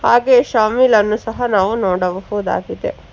ಹಾಗೆ ಶಾಮಿಲ್ ಅನ್ನು ಸಹ ನಾವು ನೋಡಬಹುದಾಗಿದೆ.